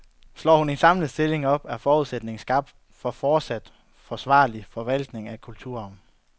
Slår hun kun en, samlet stilling op, er forudsætningen skabt for fortsat forsvarlig forvaltning af kulturarven.